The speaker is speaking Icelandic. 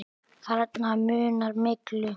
Þarna munar miklu.